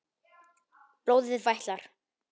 Blóðið vætlar.